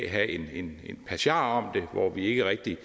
have en passiar om det hvor vi ikke rigtig